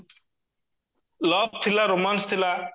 love ଥିଲା romance ଥିଲା